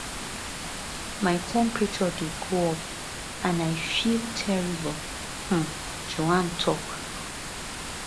my temperature dey go up up and i feel terrible um joanne tok